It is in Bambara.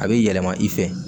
A bɛ yɛlɛma i fɛ